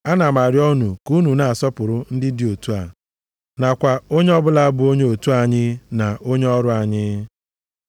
Ana m arịọ unu ka unu na-asọpụrụ ndị dị otu a, nakwa onye ọbụla bụ onye otu anyị na onye ọrụ anyị.